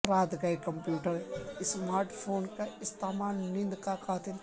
رات گئے کمپیوٹر یا اسمارٹ فون کا استعمال نیند کا قاتل